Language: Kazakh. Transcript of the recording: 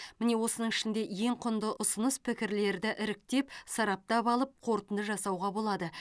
міне осының ішінде ең құнды ұсыныс пікірлерді іріктеп сараптап алып қорытынды жасауға болады